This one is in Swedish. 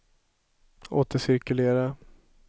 återcirkulera